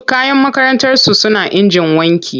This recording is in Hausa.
Duk kayan makarantarsu suna injin wanki.